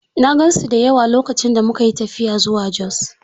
I saw many of them when we traveled to Jos.